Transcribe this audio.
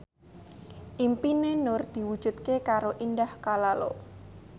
impine Nur diwujudke karo Indah Kalalo